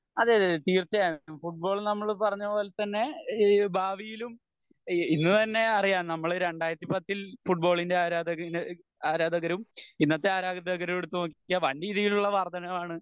അതെയതെ തീർച്ചയായും ഫുട്ബോൾ നമ്മൾ പറഞ്ഞപോലെ തന്നെ ഈഹ് ഭാവിയിലും ഇന്ന് തന്നെയറിയാം നമ്മൾ രണ്ടായിരത്തി പത്തിൽ ഫുട്ബോളിൻ്റെ ആരാധകനും ആരാധകരും ഇന്നത്തെ ആരാധകരെ എടുത്ത് നോക്കിയാൽ വാൻ രീതിയിലുള്ള വർദ്ധനവ് ആണ്